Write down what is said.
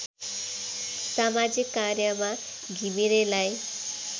समाजिक कार्यमा घिमिरेलाई